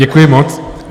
Děkuji moc.